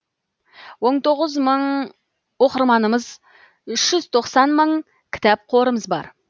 он тоғыз мың оқырманымыз үш жүз тоқсан мың кітап қорымыз бар